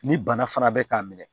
Ni bana fana bɛ k'a minɛ